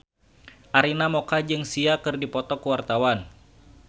Arina Mocca jeung Sia keur dipoto ku wartawan